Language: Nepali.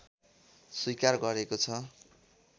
स्वीकार गरेको छ